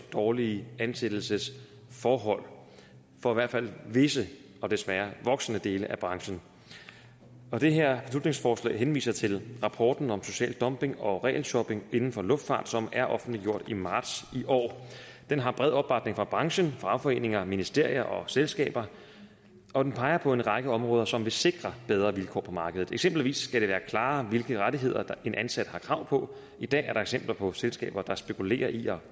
dårlige ansættelsesforhold for i hvert fald visse og desværre voksende dele af branchen det her beslutningsforslag henviser til rapporten om social dumping og regelshopping inden for luftfart som er offentliggjort i marts i år den har bred opbakning fra branchen fagforeninger ministerier og selskaber og den peger på en række områder som vil sikre bedre vilkår på markedet eksempelvis skal det være klarere hvilke rettigheder en ansat har krav på i dag er der eksempler på selskaber der spekulerer i at